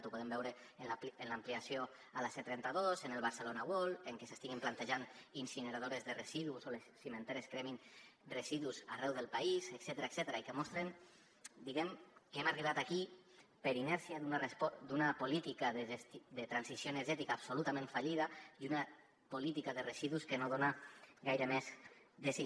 ho podem veure en l’ampliació a la c trenta dos en el barcelona world en que s’estiguin plantejant incineradores de residus o en que les cimenteres cremin residus arreu del país etcètera que mostren diguem ne que hem arribat aquí per la inèrcia d’una política de transició energètica absolutament fallida i una política de residus que no dona gaire més de si